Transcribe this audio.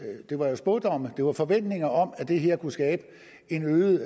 det var spådomme det var forventninger om at det her kunne skabe en øget